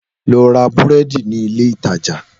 Lọ ra búrẹ́dì nílé ìtajà